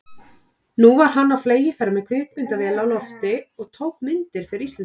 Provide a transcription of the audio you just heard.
Nú var hann á fleygiferð með kvikmyndavél á lofti og tók myndir fyrir Íslendinga.